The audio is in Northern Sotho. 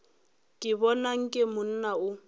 ke bona nke monna o